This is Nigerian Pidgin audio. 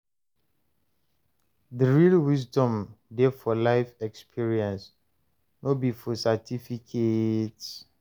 The real wisdom dey for life experience, no be for certificates.